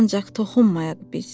ancaq toxunmayaq biz.